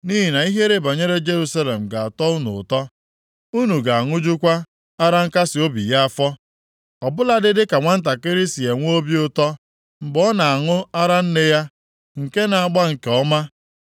Nʼihi na ihe banyere Jerusalem ga-atọ unu ụtọ. Unu ga-aṅụjukwa ara nkasiobi ya afọ, ọ bụladị dịka nwantakịrị si enwe obi ụtọ mgbe ọ na-aṅụ ara nne ya nke na-agba nke ọma.”